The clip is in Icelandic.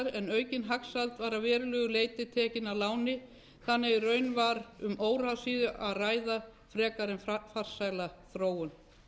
en aukin hagsæld var að verulegu leyti tekin að láni þannig að í raun var um óráðsíu að ræða frekar en farsæla þróun